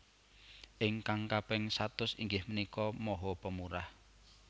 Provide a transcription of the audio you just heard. Ingkang kaping satus inggih menika maha pemurah